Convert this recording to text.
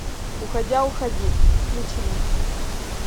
уходя уходи включи мне